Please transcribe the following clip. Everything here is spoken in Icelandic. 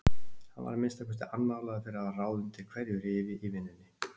Hann var að minnsta kosti annálaður fyrir að hafa ráð undir hverju rifi í vinnunni.